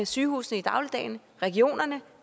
sygehusene i dagligdagen regionerne